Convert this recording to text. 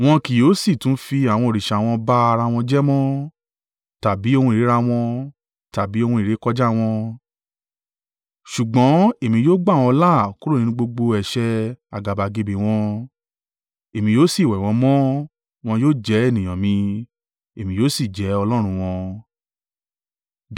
Wọn kì yóò sì tún fi àwọn òrìṣà wọn ba ara wọn jẹ́ mọ́, tàbí ohun ìríra wọn, tàbí ohun ìrékọjá wọn: ṣùgbọ́n èmi yóò gbà wọn là kúrò nínú gbogbo ẹ̀ṣẹ̀ àgàbàgebè wọn, èmi yóò sì wẹ̀ wọn mọ́. Wọn yóò jẹ́ ènìyàn mi, Èmi yóò sì jẹ́ Ọlọ́run wọn.